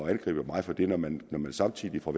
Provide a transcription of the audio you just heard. at angribe mig for det når man samtidig fra